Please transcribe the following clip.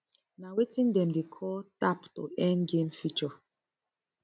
na wetin dem dey call tap to earn game feature